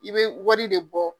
I be wari de bɔ.